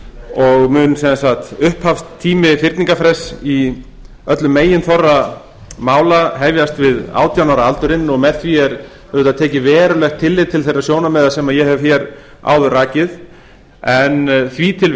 og mun sem sagt upphafstími fyrningarfrests í öllum meginþorra mála hefjast við átján ára aldurinn og með því er tekið verulegt tillit til þeirra sjónarmiða sem ég hef áður rakið en því til